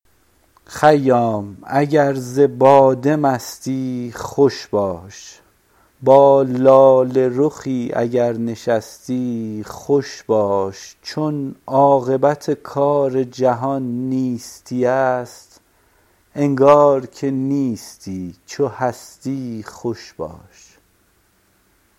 خیام اگر ز باده مستی خوش باش با لاله رخی اگر نشستی خوش باش چون عاقبت کار جهان نیستی است انگار که نیستی چو هستی خوش باش